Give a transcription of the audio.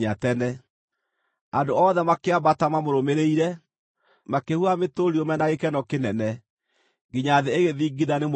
Andũ othe makĩambata mamũrũmĩrĩire, makĩhuhaga mĩtũrirũ me na gĩkeno kĩnene, nginya thĩ ĩgĩthingitha nĩ mũrurumo.